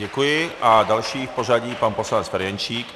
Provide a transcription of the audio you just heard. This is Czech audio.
Děkuji a další v pořadí pan poslanec Ferjenčík.